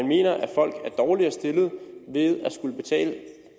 mener at folk er dårligere stillet ved at skulle betale